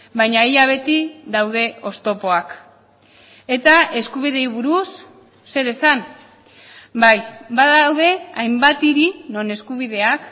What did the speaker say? baina ia beti daude oztopoak eta eskubideei buruz zer esan bai badaude hainbat hiri non eskubideak